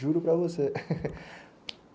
Juro para você.